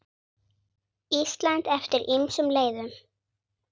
Ísland eftir ýmsum leiðum.